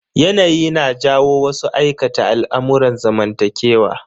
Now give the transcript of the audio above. Yanayi na jawo wasu aikata al'amurran zamantakewa.